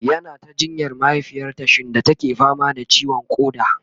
yana ta jinyar mahaifiyarta shinda take fama da ciwon koda